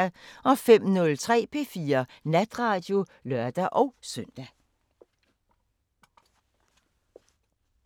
05:03: P4 Natradio (lør-søn)